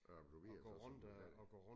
Arbejder du videre så sådan der